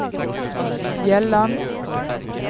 Bjelland